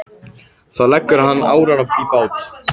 Þá leggur hann árar í bát.